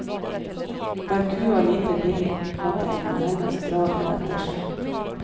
Var kua lite villig, måtte en nærmest dra den etter seg.